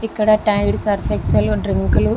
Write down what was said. ఇక్కడ Tide Surf Excel drink లు --